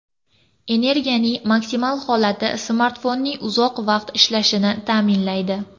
Energiyaning maksimal holati smartfonning uzoq vaqt ishlashini ta’minlaydi.